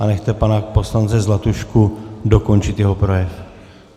A nechte pana poslance Zlatušku dokončit jeho projev.